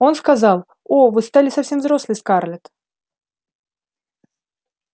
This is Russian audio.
он сказал о вы стали совсем взрослой скарлетт